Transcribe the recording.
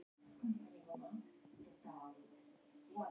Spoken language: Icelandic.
Snekkja, hvenær kemur leið númer þrjátíu og þrjú?